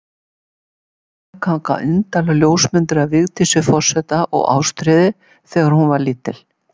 Á stofuvegg hanga indælar ljósmyndir af Vigdísi forseta og Ástríði, þegar hún var lítil.